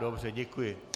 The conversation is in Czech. Dobře, děkuji.